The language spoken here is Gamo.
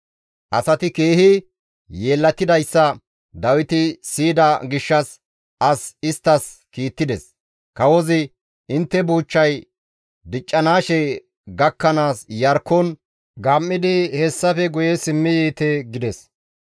Asati keehi yeellatidayssa Dawiti siyida gishshas as isttas kiittides; kawozi, «Intte buuchchay diccanaashe gakkanaas Iyarkkon gam7idi hessafe guye simmi yiite» gides.